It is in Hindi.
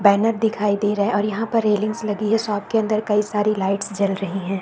बैनर दिखाई दे रहे हैं और यहाँ पर रेलिंग्स लगी है। शॉप के अंदर कई सारी लाइट्स जल रही है।